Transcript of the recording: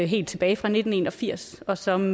helt tilbage fra nitten en og firs og som